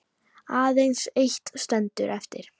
Aðeins eitt stendur eftir.